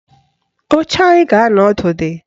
Oche anyị ga-anọ ọdụ dị